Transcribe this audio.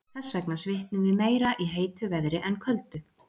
Þess vegna svitnum við meira í heitu veðri en köldu.